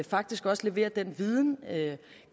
faktisk også leverer en viden